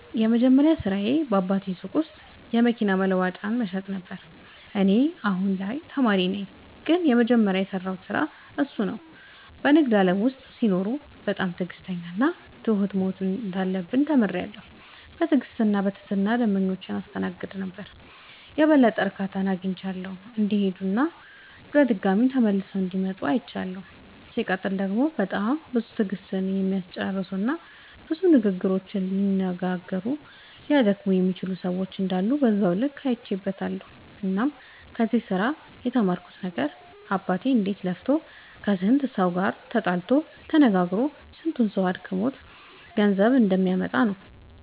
የመጀመሪያ ስራዬ በአባቴ ሱቅ ውስጥ የመኪና መለዋወጫዎችን መሸጥ ነበረ። እኔ አሁን ላይ ተማሪ ነኝ ግን የመጀመሪያ የሰራሁት ስራ እሱን ነው። በንግድ ዓለም ውስጥ ሲኖሩ በጣም ትዕግሥተኛና ትሁት መሆን እንዳለብን ተምሬያለሁ። በትዕግሥትና በትህትና ደንበኞቻችንን ስናስተናግድ የበለጠ እርካታ አግኝተው እንዲሄዱና ድጋሚም እንዲመለሱ እንደሚረዳ አይቻለሁ። ሲቀጥል ደግሞ በጣም ብዙ ትዕግሥትን የሚያስጨርሱና ብዙ ንግግሮችን ሊያነጋግሩና ሊያደክሙ የሚችሉ ሰዎች እንዳሉ በዛው ልክ አይቼበትበታለሁ። እናም ከዚህ ስራ የተማርኩት ነገር አባቴ እንዴት ለፍቶ ከስንቱ ሰው ጋር ተጣልቶ ተነጋግሮ ስንቱ ሰው አድክሞት ገንዘብ እንደሚያመጣ ነው።